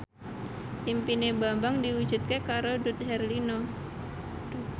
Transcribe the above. impine Bambang diwujudke karo Dude Herlino